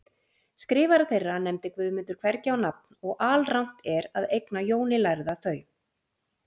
Skrifara þeirra nefndi Guðmundur hvergi á nafn og alrangt er að eigna Jóni lærða þau.